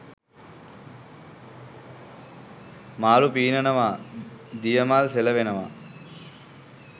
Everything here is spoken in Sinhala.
මාළු පීනනවා දිය මල් සෙලවෙනවා